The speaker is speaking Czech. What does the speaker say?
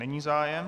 Není zájem.